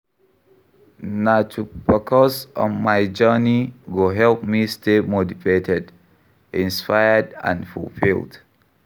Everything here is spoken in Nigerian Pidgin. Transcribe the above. Na to focus on my journey go help me stay motivated, inspired and fulfilled.